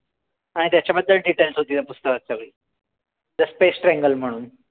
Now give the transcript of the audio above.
आणि त्याच्याबद्दल details होती त्या पुस्तकात सगळी. The space triangle म्हणून.